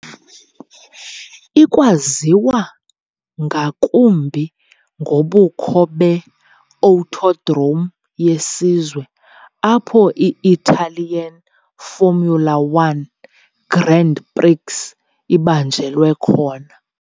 Ikwayaziwa ngakumbi ngobukho be- Autodrome yeSizwe, apho i- Italian Formula 1 Grand Prix ibanjelwa khona.